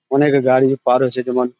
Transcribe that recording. অনেক গাড়ি পার হচ্ছে। যেমন --